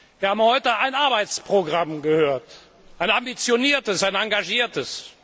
Wir haben heute ein Arbeitsprogramm gehört, ein ambitioniertes, ein engagiertes.